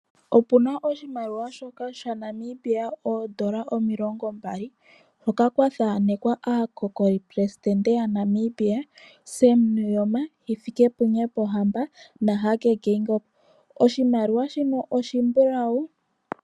Opuna oshimaliwa shaNamibia oondola omilongo ndatu, hoka kwa thanekwa aakokoli presidente ya Namibia, Sam Nuuyoma, Hifikepunye Pohamba, naHage Geingob. Oshimaliwa shika oshimbulawu.